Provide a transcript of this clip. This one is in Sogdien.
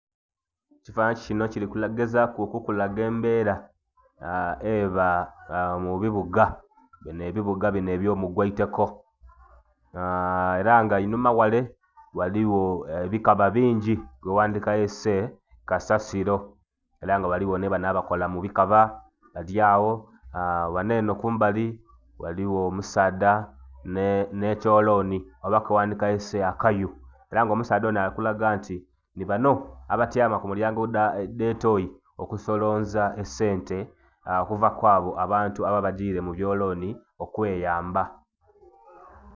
Ekifanani kino kirigezaaku okukulaga embera eba mubibuga, a mubibuga bino ebyomugweyitoko, a era nga einhuma ghare ghaliwo ebikaba bingyi byowandikayese kasasilo era nga ghaliwo nibano abakola mubikaba balyawo, ghaneno kumbali ghaliwo omusadha ne'kyolooni oba keghandikayese akayu era nga omusadha ono alikulaga nti nibano abatyaama kumilyango edhetooy i okusolonza ensete okuva kwabo abantu ababa bagyire mubyolooni Okweyamba